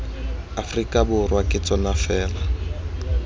aforika borwa ke tsona fela